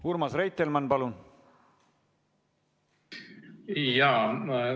Urmas Reitelmann, palun!